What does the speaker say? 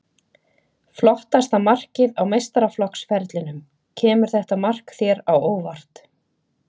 Flottasta markið á meistaraflokksferlinum Kemur þetta mark þér á óvart?